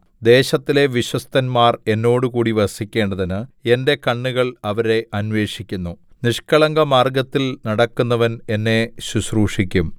ദേശത്തിലെ വിശ്വസ്തന്മാർ എന്നോടുകൂടി വസിക്കേണ്ടതിന് എന്റെ കണ്ണുകൾ അവരെ അന്വേഷിക്കുന്നു നിഷ്കളങ്കമാർഗ്ഗത്തിൽ നടക്കുന്നവൻ എന്നെ ശുശ്രൂഷിക്കും